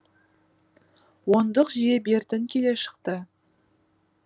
ондық жүйе бертін келе шықты